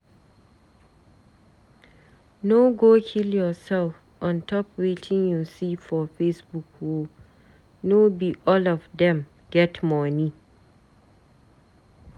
No go kill yoursef on top wetin you see for Facebook o, no be all of dem get moni.